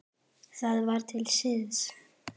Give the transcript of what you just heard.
Það var til siðs.